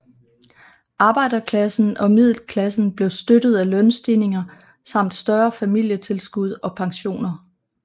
Arbejderklassen og middelklassen blev støttet af lønstigninger samt større familietilskud og pensioner